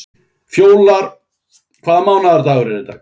Fjólar, hvaða mánaðardagur er í dag?